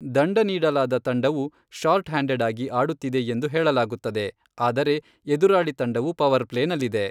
ದಂಡ ನೀಡಲಾದ ತಂಡವು ಶಾರ್ಟ್ ಹ್ಯಾಂಡೆಡ್ ಆಗಿ ಆಡುತ್ತಿದೆ ಎಂದು ಹೇಳಲಾಗುತ್ತದೆ. ಆದರೆ ಎದುರಾಳಿ ತಂಡವು ಪವರ್ ಪ್ಲೇ ನಲ್ಲಿದೆ.